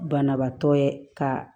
Banabaatɔ ye ka